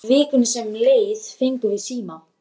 Í vikunni sem leið fengum við síma.